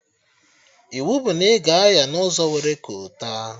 Iwu bụ na ị ga-anya n'ụzọ nwere kolta!